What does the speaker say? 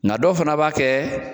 N ka dɔ fana b'a kɛ